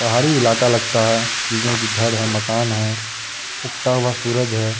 पहाड़ी इलाका लगता हैं इधर भी घर है मकान है उगता हुआ सूरज हैं।